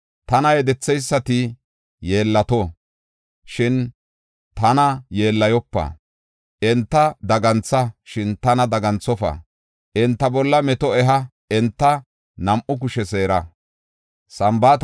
Tana yedetheysati yeellato; shin tana yeellayopa. Enta dagantha; shin tana daganthofa. Enta bolla meto eha; enta nam7u kushe seera.